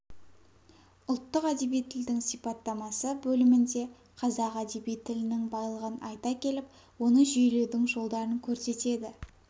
ұлттық әдеби тілдің сипаттамасы бөлімінде қазақ әдеби тілінің байлығын айта келіп оны жүйелеудің жолдарын көрсетеді